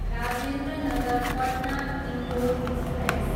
Rajendra Nagar Patna, Indore express